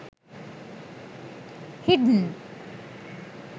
hidden